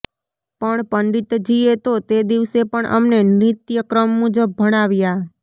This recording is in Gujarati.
પણ પંડિતજીએ તો તે દિવસે પણ અમને નિત્ય ક્રમ મુજબ ભણાવ્યા